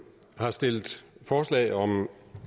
har stillet forslag om